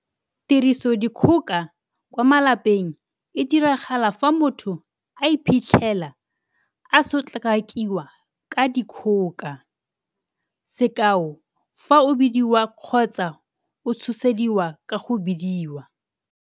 Tirisodikgoka kwa malapeng e diragala fa motho a iphitlhela, a sotlakakiwa ka dikgoka - sekao fa o bidiwa kgotsa o tshosediwa ka go bidiwa.